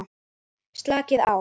Slakið á.